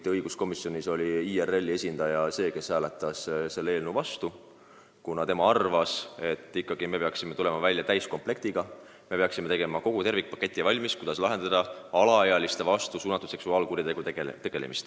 Kuid õiguskomisjonis hääletas IRL-i esindaja selle eelnõu vastu, kuna tema arvas, et me peaksime välja tulema täiskomplektiga: peaksime koostama tervikpaketi, kuidas tegeleda alaealiste vastu suunatud seksuaalkuritegudega.